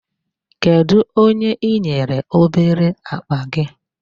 Kedụ onye i nyere obere akpa gị?